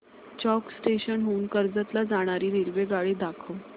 चौक station हून कर्जत ला जाणारी रेल्वेगाडी दाखव